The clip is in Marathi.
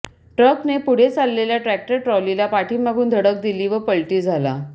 ट्रकने पुढे चाललेल्या ट्रक्टर ट्रॉलीला पाठीमागून धडक दिली व पलटी झाला